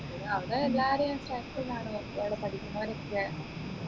അവിടെ എല്ലാരേം friends കാണും പഠിക്കുന്നവരൊക്കെ